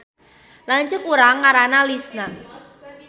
Lanceuk urang ngaranna Lisna